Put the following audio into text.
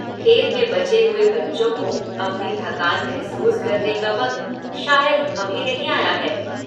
खेल में बचे हुए बच्चों को अपनी थकान महसूस करने का वक्त शायद अभी नहीं आया है।